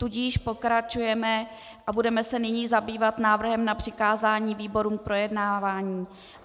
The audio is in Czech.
Tudíž pokračujeme a budeme se nyní zabývat návrhem na přikázání výborům k projednávání.